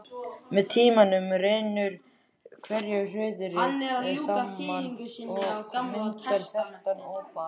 Með tímanum rennur hverahrúðrið saman og myndar þéttan ópal.